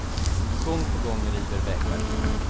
Gång på gång river vägverket den.